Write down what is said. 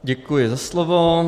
Děkuji za slovo.